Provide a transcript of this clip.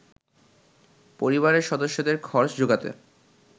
পরিবারের সদস্যদের খরচ যোগাতে